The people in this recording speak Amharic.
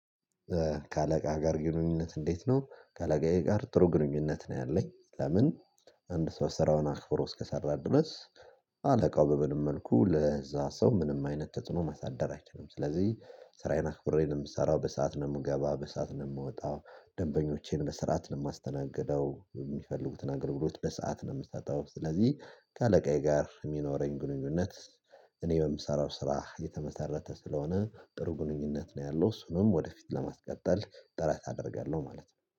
ከአለቃ ጋር ግንኙነት እንዴት ነው? ከአለቃዬ ጋር ጥሩ ግንኙነት ነው ያለኝ። ለምን አንድ ሰው ስራውን አክብሮ እስከሰራ ድረስ አለቃው በምንም መልኩ ለዛ ሰው ምንም አይነት ተጽኖ ማሳደር አይችልም። ስለዚህ ስራዬን አክብሬ ነው የምሰራው፤ በሰአት ነው የምገባው፤ በሰአት ነው የምወጣው፤ ደንበኞቼን በስራአት ነው የማስተናገደው፤ የሚፈልጉትን አገልግሎት በሰአት ነው የምትሰጠው፤ ስለዚህ ከአለቃዬ ጋር የሚኖረኝ ግንኙነት እኔ በምሰራው ስራ የተመሰረተ ስለሆነ ጥሩ ግንኙነት ነው ያለው፤ እሱንም ወደፊት ለማስቀጠል ጥረት አደርጋለሁ ማለት ነው።